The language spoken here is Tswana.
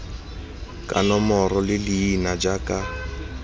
ka nomoro le leina jaaka